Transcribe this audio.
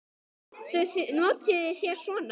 Notið þér svona?